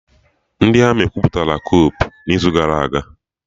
The Armị kwupụta kupu n'izu gara y